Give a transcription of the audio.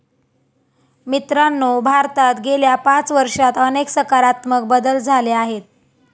मित्रांनो, भारतात गेल्या पाच वर्षात अनेक सकारात्मक बदल झाले आहेत.